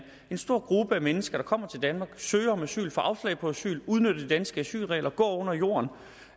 en stor gruppe mennesker der kommer til danmark søger om asyl får afslag på asyl udnytter de danske asylregler går under jorden og